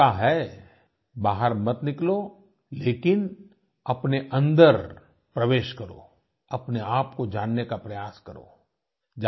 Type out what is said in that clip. ये मौका है बाहर मत निकलो लेकिन अपने अन्दर प्रवेश करो अपने आप को जानने का प्रयास करो